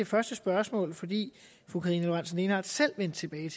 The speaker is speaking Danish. første spørgsmål fordi fru karina lorentzen dehnhardt selv vendte tilbage